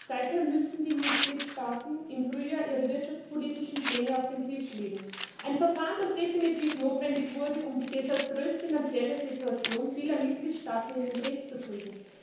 Seither müssen die Mitgliedstaaten im Frühjahr ihre wirtschaftspolitischen Pläne auf den Tisch legen ein Verfahren, das definitiv notwendig wurde, um die desaströse finanzielle Situation vieler Mitgliedstaaten in den Griff zu bekommen.